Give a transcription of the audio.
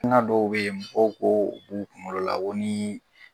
dɔw beyi mɔgɔw k'o b'u kungolo la komi.